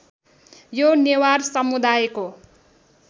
यो नेवार समुदायको